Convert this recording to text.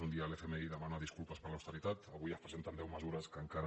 un dia l’fmi demana disculpes per l’austeri·tat avui es presenten deu mesures que encara